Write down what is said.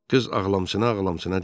Qız ağlamşına-ağlamşına dedi.